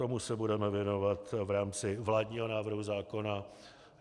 Tomu se budeme věnovat v rámci vládního návrhu zákona.